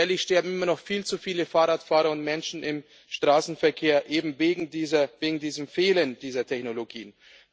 Jährlich sterben immer noch viel zu viele Fahrradfahrer und Menschen im Straßenverkehr eben wegen diesem Fehlen dieser Technologien.